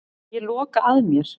Ég loka að mér.